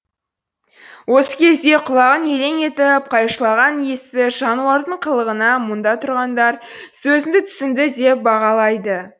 осы кезде құлағын елең етіп қайшылаған есті жануардың қылығына мұнда тұрғандар сөзіңді түсінді деп бағалайды